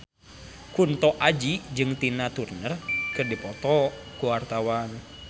Kunto Aji jeung Tina Turner keur dipoto ku wartawan